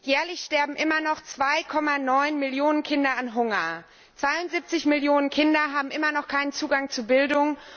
Jährlich sterben immer noch 2,9 Millionen Kinder an Hunger, 72 Millionen Kinder haben immer noch keinen Zugang zu Bildung.